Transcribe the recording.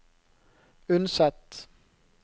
Unset